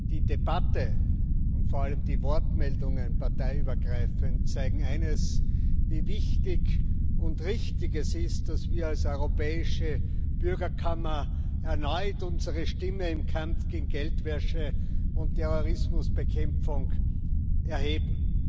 Die Debatte und vor allem die Wortmeldungen zeigen parteiübergreifend eines Wie wichtig und richtig es ist, dass wir als europäische Bürgerkammer erneut unsere Stimme im Kampf gegen Geldwäsche und Terrorismusbekämpfung erheben.